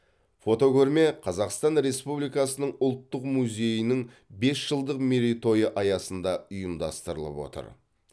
фотокөрме қазақстан республикасының ұлттық музейінің бес жылдық мерейтойы аясында ұйымдастырылып отыр